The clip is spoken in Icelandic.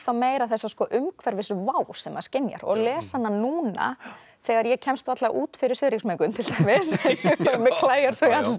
meira þessa umhverfisvá sem maður skynjar og að lesa hana núna þegar ég kemst varla út fyrir svifryksmengun til dæmis mig klæjar